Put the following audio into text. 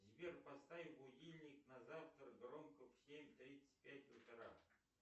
сбер поставь будильник на завтра громко в семь тридцать пять утра